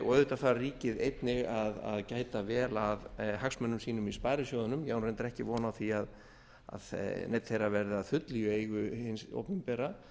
og auðvitað þarf ríkið einnig að gæta vel að hagsmunum sínum í sparisjóðunum ég á reyndar ekki von á því að neinn þeirra verði að fullu í eigu hins opinbera